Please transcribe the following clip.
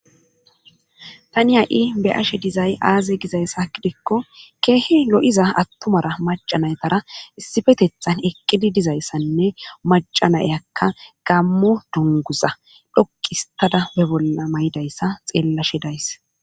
tani ha7i be'ashe dizay aaze gizayssa kidikko keehe lo7iza attumara macanaytara issifetethan eqqidi dizayssanne macanayakka gammo dunguza dhokkistada be bolla mayidayssa xeellashe days